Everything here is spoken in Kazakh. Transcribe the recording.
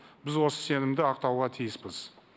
біз осы сенімді ақтауға тиіспіз